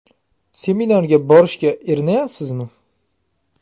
Seminarga borishga erinayapsizmi?